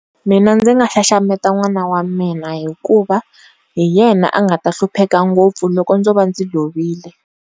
Mina ndzi nga xaxameta n'wana wa mina hikuva hi yena a nga ta hlupheka ngopfu loko ndzo va ndzi lovile.